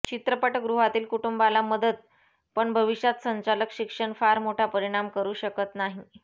चित्रपटगृहातील कुटुंबाला मदत पण भविष्यात संचालक शिक्षण फार मोठा परिणाम करू शकत नाही